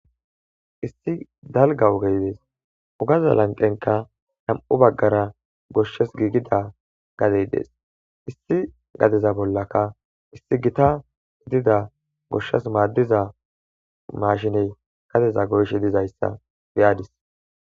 issi dalga wogeydees ugaza lanqenka nam7u baggara goshshes giigida gadey dees issi gadeza bollaka issi gita hidida goshshes maaddiza mashiney kadeza goyshe dizayssa beyadis